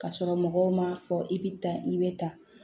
Ka sɔrɔ mɔgɔw m'a fɔ i bɛ tan i bɛ tan